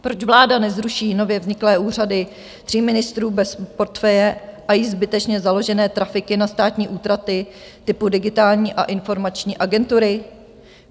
Proč vláda nezruší nově vzniklé úřady tří ministrů bez portfeje a již zbytečně založené trafiky na státní útraty typu Digitální a informační agentury?